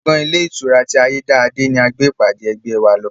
Gbọ̀ngàn ilé ìtura ti ayédáadé ni a gbé ìpàdé ẹgbẹ́ wa lọ